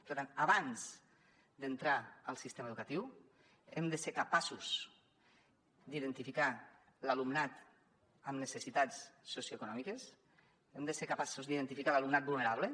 per tant abans d’entrar al sistema educatiu hem de ser capaços d’identificar l’alumnat amb necessitats socioeconòmiques hem de ser capaços d’identificar l’alumnat vulnerable